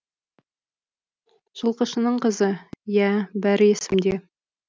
жылқышының қызы иә бәрі есімде